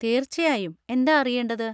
തീർച്ചയായും, എന്താ അറിയേണ്ടത്?